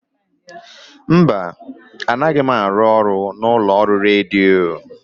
Mba, anaghị m arụ ọrụ n'ụlọ ọrụ redio.